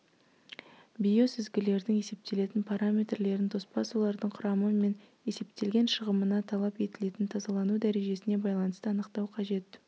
биосүзгілердің есептелетін параметрлерін тоспа сулардың құрамы мен есептелген шығымына талап етілетін тазалану дәрежесіне байланысты анықтау қажет